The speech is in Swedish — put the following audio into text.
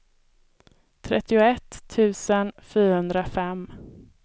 trettioett tusen fyrahundrafem